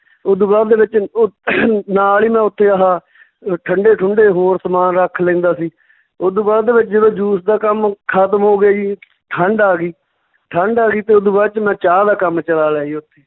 ਓਦੂ ਬਾਅਦ ਦੇ ਵਿੱਚ ਉਹ ਨਾਲ ਹੀ ਉੱਥੇ ਮੈਂ ਆਹ ਅਹ ਠੰਢੇ ਠੁੰਢੇ ਹੋਰ ਸਮਾਨ ਰੱਖ ਲੈਂਦਾ ਸੀ, ਓਦੂ ਬਾਅਦ ਦੇ ਵਿੱਚ ਜਦੋਂ juice ਦਾ ਕੰਮ ਖਤਮ ਹੋ ਗਿਆ ਜੀ ਠੰਡ ਆ ਗਈ, ਠੰਡ ਆ ਗਈ ਤੇ ਓਦੂ ਬਾਅਦ ਚ ਮੈਂ ਚਾਹ ਦਾ ਕੰਮ ਚਲਾ ਲਿਆ ਜੀ ਓਥੇ